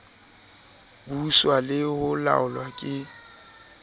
buswa le ho laolwa ke